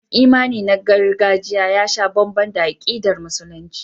Tabbas imani na gargajiya ya sha bamban da akidar Musulunci.